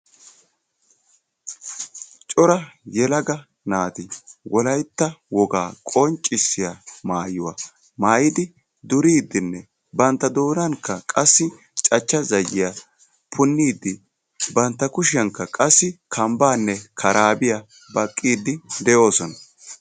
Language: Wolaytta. Cora yelaga naati wolaytta wogaa qonccisiyaa maayuwaa maayidi duriidinne bantta doonankka qassi cachcha zayiyaa punniidi bantta kushshiyankka qassi kambbaanne karaabiyaa baqqiidi de'oosona.